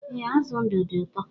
E, azụ ndụ dị ụtọ